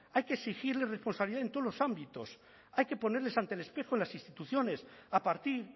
hay que exigirles responsabilidad en todos los ámbitos hay que ponerles ante el espejo en las instituciones a partir